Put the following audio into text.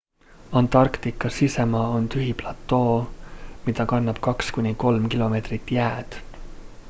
antarktika sisemaa on tühi platoo mida katab 2-3 km jääd